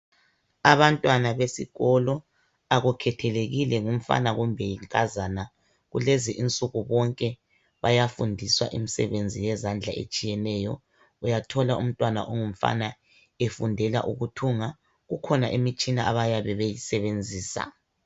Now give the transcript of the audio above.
Abantwana besikolo akukhethelekile ngumfana kumbe yinkazana , kulezinsuku bonke bayafundiswa imisebenzi yezandla etshiyeneyo. Uyathola umntwana ongumfana efundela ukuthunga . Kukhona imitshina abayabe beyisebenzisa.